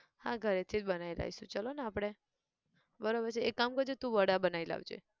હા ઘરે થી જ બનાયી લાઈશું ચાલો ને આપણે બરોબર છે એક કામ કરજે તું વડા બનાયી લાવજે